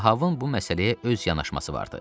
Ahabın bu məsələyə öz yanaşması vardı.